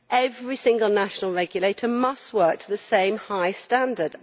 Every single national regulator must work to the same high standard.